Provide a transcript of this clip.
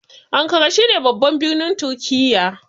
Ankara shine babban birnin turkiya